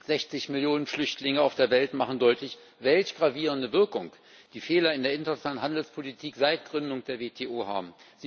60 Millionen Flüchtlinge auf der Welt machen deutlich, welch gravierende Wirkung die Fehler in der internationalen Handelspolitik seit Gründung der WTO haben.